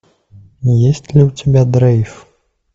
есть ли у тебя дрейв